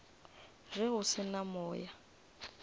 ge go se na moya